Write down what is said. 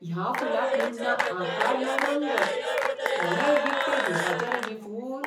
ह्या फुलाक म्हूण ना आकार ना रंग. कोणेय विकतें घेवपाचें रे हें फूल?